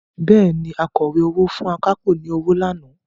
Bẹ́ẹ̀ni, Akọ̀wé owó fún akápò ní owó lánàá